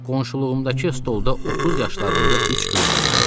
Qonşuluğumdakı stolda 30 yaşlarında üç qız oturmuşdu.